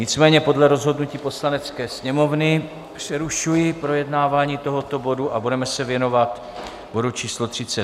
Nicméně podle rozhodnutí Poslanecké sněmovny přerušuji projednávání tohoto bodu a budeme se věnovat bodu číslo